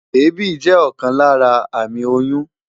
Èébì jẹ́ ọ̀kan lára àmì oyún.